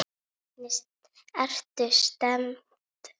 Hvernig ertu stemmd?